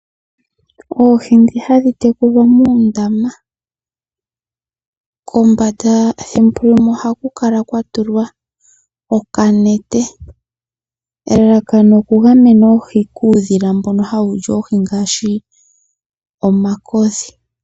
Oohi ndhi hadhi tekulwa muundama, kombanda yuundama thimbo limwe ohaku kala kwa tulwa uunete, elalakano okugamena oohi kaadhi li kemo kuudhila mbono hawu li oohi ngaashi omakodhi.